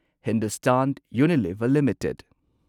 Hindustan Unilever limited